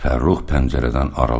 Fərrux pəncərədən aralandı.